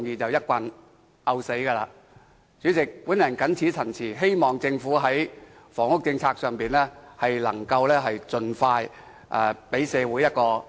代理主席，我謹此陳辭，希望政府在房屋政策上能盡快給社會一個滿意的答覆。